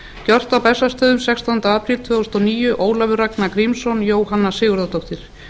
gjört á bessastöðum sextánda apríl tvö þúsund og níu ólafur ragnar grímsson jóhanna sigurðardóttir